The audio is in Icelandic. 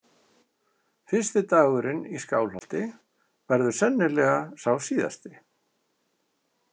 Fyrsti dagurinn í Skálholti verður sennilega sá síðasti.